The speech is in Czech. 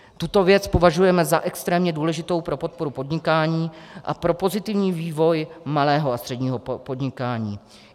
Tuto věc považujeme za extrémně důležitou pro podporu podnikání a pro pozitivní vývoj malého a středního podnikání.